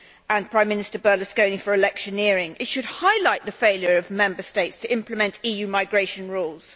and Prime Minister Berlusconi for electioneering purposes. It should highlight the failure of Member States to implement EU migration rules.